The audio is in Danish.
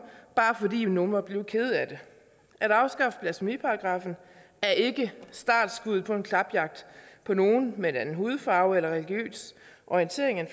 bare fordi nogle er blevet kede af det at afskaffe blasfemiparagraffen er ikke startskuddet på en klapjagt på nogen med en anden hudfarve eller af religiøs orientering end